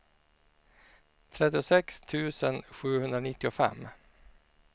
trettiosex tusen sjuhundranittiofem